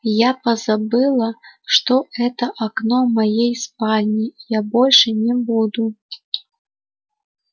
я позабыла что это окно моей спальни я больше не буду